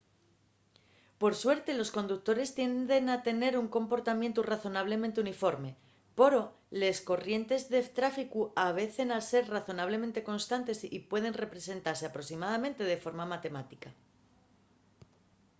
por suerte los conductores tienden a tener un comportamientu razonablemente uniforme poro les corrientes de tráficu avecen ser razonablemente constantes y pueden representase aproximadamente de forma matemática